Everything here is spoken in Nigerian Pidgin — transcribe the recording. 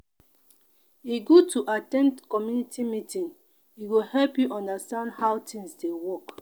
e good to at ten d community meeting e go help you understand how things dey work.